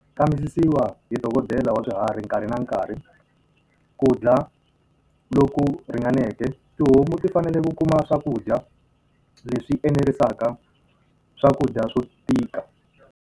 Kambisisiwa hi dokodela wa swiharhi nkarhi na nkarhi, ku dya loku ringaneke. Tihomu ti fanele ku kuma swakudya leswi enerisaka, swakudya swo tika.